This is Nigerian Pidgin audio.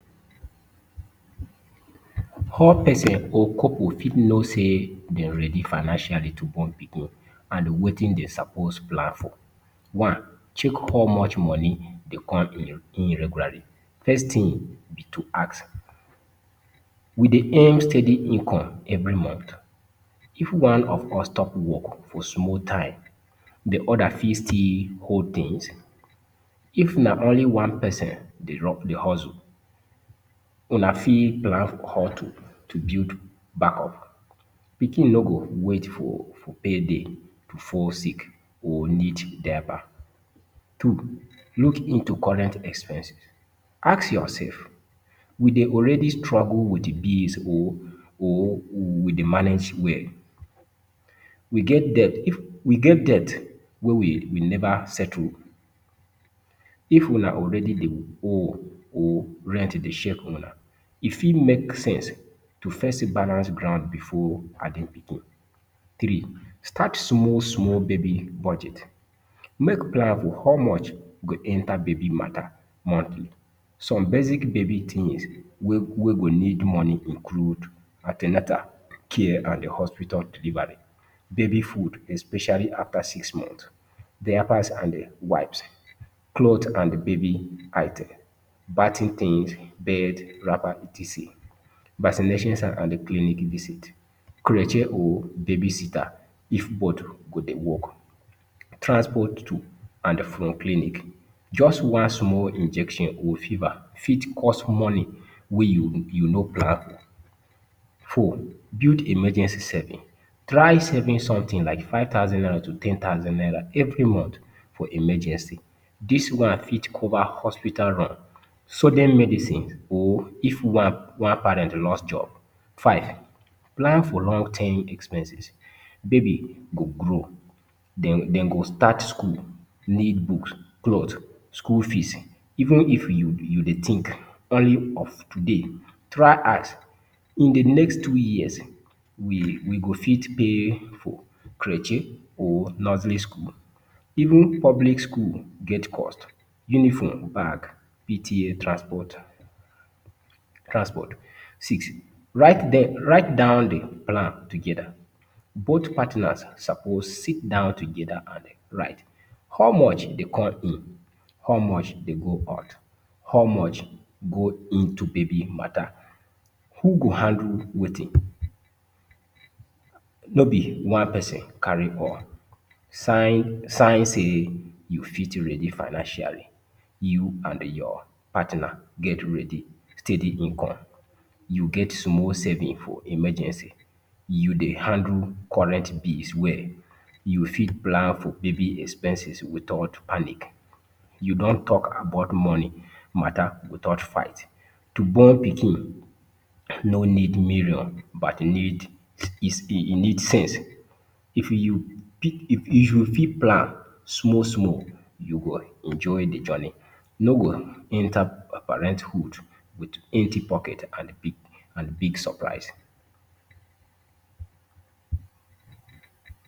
How person or couple fit know sey den ready financially to born pikin and wetin den suppose plan for? One, check how much money dey come in in regularly. First tin be to ask, we dey earn steady income every month? If one of us stop work for small time di oda fit still hold tins? If na only one person dey rub dey hustle, una fit plan how to to build backup? Pikin no go wait for for pay day to fall sick or need diaper. Two, look into current expenses. Ask yourself, we dey already struggle wit bills or or we dey manage well? We get debt if we get debt wey we we neva settle? If una already dey owe or rent dey shake una, e fit make sense to first balance ground before adding pikin. Three, start small small baby budget. Make plan for how much go enter baby mata, monthly. Some basic baby tins wey wey go need money include; an ten atal care and di hospital delivery, baby food especially after six months, diapers and wipes, cloths and baby item, bating tins, bed, wrapper, etc. vaccinations and clinic visit, creche or babysitter, if both go dey work go dey work, transport to and from clinic. Just one small injection or fever fit cost money wey you no plan. Four, build emergency saving. Try saving sometin like five thousand naira to ten thousand naira every month for emergency. Dis one fit cover hospital run, sudden medicine or if one one parent lost job. Five, plan for long term expenses. Baby go grow, den den go start school, need books, cloths, school fees, even if you be you dey tink earning of today, try ask, in di next two years, we we go fit pay for creche or nursery school. Even public school get cost, uniform, bag, PTA, transport transport. Six, write dem write down di plan togeda. Both partners suppose sit down togeda and write. How much dey come in, how much dey go out, how much go into baby mata? Who go handle wetin? No be one person carry all. Sign sign sey you fit ready financially, you and your partner get ready steady income, you get small saving for emergency, you dey handle current bills well, you fit plan for baby expenses without panic. You don talk about money mata without fight, to born pikin no need million but need is its e need sense. If you pick if you fit plan small small, you go enjoy di journey, no go enter pa parenthood wit empty pocket and big and big surprise.